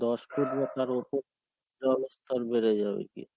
দশ ফুট জলস্থর বেড়ে যাবে গিয়ে.